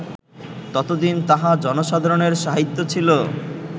ততদিন তাহা জনসাধারণের সাহিত্য ছিল